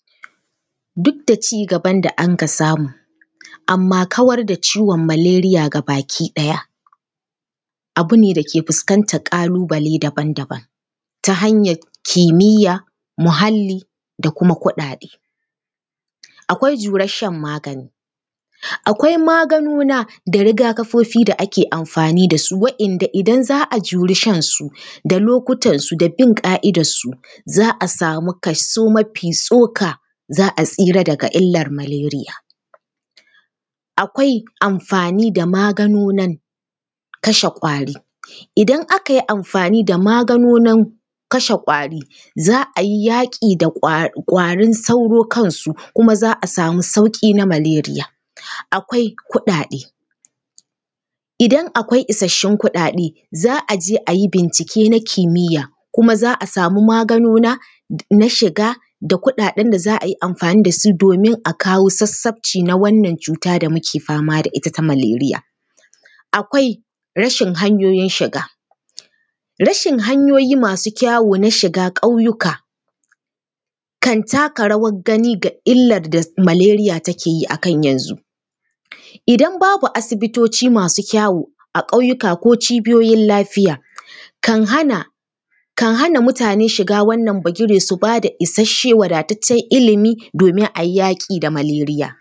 Duk da ci gaban da anka samu, amma kawar da ciwon malaria gabaki ɗaya abu ne da yake fuskantar ƙalu-bale daban daban, ta hanyar kimiyya, muhalli da kuma kuɗaɗe. Akwai jurar shan magani, akwai maganuna da riga-kafofi da ake amfani da su waɗanda in za a juri shan su, da lokutansu da bun ƙa’idarsu, za a samu kaso mafi tsoka, za a tsira daga illar malaria. Akwai amfani da maganunan kashe ƙwari. Idan aka yi amfani da maganunan kashe ƙwari, za a yi yaƙi da ƙwarin sauro kansu kuma za a samu sauƙi na malaria. Akwai kuɗaɗe, idan akwai isassun kuɗaɗe, za a je a yi bincike na kimiyya kuma za a samu maganuna na shiga da kuɗaɗen da za a yi amfani da su domin a kawo sassabci na wannan cuta da muke fama da ita ta malaria. Akwai rashin hanyoyin shiga, rashin hanyoyi masu kyawu na shiga ƙauyuka kan taka rawar gani ga illar da malaria take yi a kan yanzu. Idan babu asibitoci masu kyawu, a ƙauyuka ko cibiyoyin lafiya, kan hana mutane shiga wannan bagire, su ba da isasshe, wadataccen ilimi domin a yi yaƙi da malaria.